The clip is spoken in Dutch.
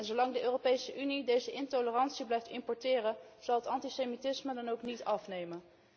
Zolang de Europese Unie deze intolerantie blijft importeren, zal het antisemitisme dan ook niet afnemen.